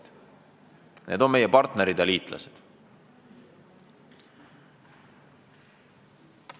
Need riigid on meie partnerid ja liitlased.